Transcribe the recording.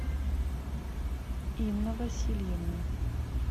инна васильевна